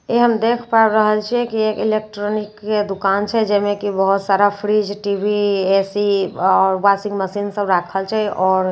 ई हम देख पाबि रहल छिए की एक इलेक्ट्रॉनिक के दुकान छै जाहि मे की बहुत सारा फ्रिज टी_वी ए_सी आ वाशिंग मशीन सभ राखल छै। आओर --